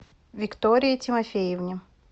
виктории тимофеевне